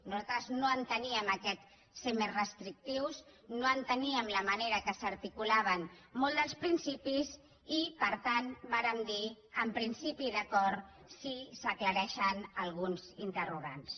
nosaltres no enteníem aquest ser més restrictius no enteníem la manera que s’hi articulaven molts dels principis i per tant vàrem dir en principi d’acord si s’aclareixen alguns interrogants